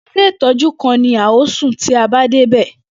Ilé ìtọ́jú kan ni a ó sùn tí a bá dé ibẹ̀.